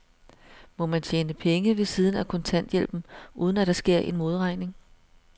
Må man tjene penge ved siden af kontanthjælpen, uden at der sker en modregning?